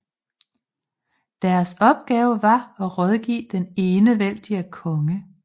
Deres opgave var at rådgive den enevældige konge